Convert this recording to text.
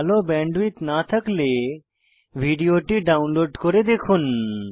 ভাল ব্যান্ডউইডথ না থাকলে ভিডিওটি ডাউনলোড করে দেখুন